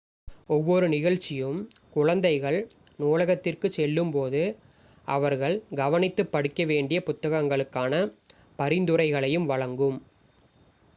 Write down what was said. ஒவ்வொரு நிகழ்ச்சியும் குழந்தைகள் நூலகத்திற்குச் செல்லும்போது அவர்கள் கவனித்துப் படிக்கவேண்டிய புத்தகங்களுக்கான பரிந்துரைகளையும் வழங்கும்